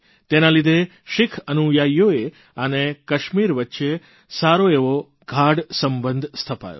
તેના લીધે શીખ અનુયાયીઓ અને કાશ્મીર વચ્ચે સારો એવો ગાઢ સંબંધ સ્થપાયો